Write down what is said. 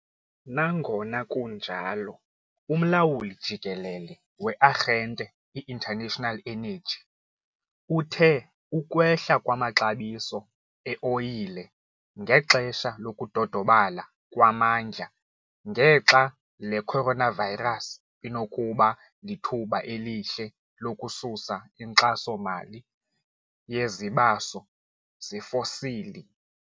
Nangona kunjalo, uMlawuli Jikelele we-Arhente i-International Energy uthe ukwehla kwamaxabiso e-oyile ngexesha lokudodobala kwamandla ngexa le coronavirus inokuba lithuba elihle lokususa inkxaso-mali yezibaso zefosili.